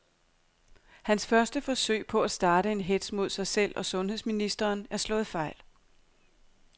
Hans første forsøg på at starte en hetz mod sig selv og sundheds ministeren er slået fejl.